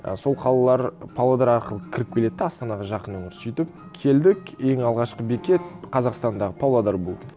ы сол қалалар павлодар арқылы кіріп келеді де астанаға жақын олар сөйтіп келдік ең алғашқы бекет қазақстандағы павлодар болды